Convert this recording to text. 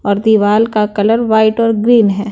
और दीवाल का कलर वाइट और ग्रीन है।